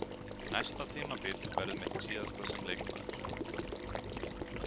Næsta tímabil verður mitt síðasta sem leikmaður.